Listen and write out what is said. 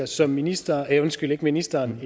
så ministeren undskyld ikke ministeren